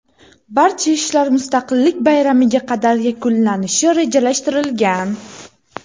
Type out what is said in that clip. Barcha ishlar Mustaqillik bayramiga qadar yakunlanishi rejalashtirilgan.